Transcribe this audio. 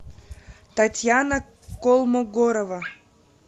татьяна колмогорова